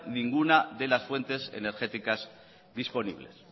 ninguna de las fuentes energéticas disponibles